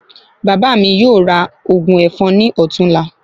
Bàbá mi yóò ra ògùn èfọn ní ọ̀tún la